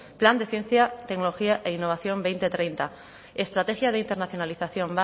plan de ciencia tecnología e innovación dos mil treinta estrategia de internacionalización